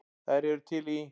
Þær eru til í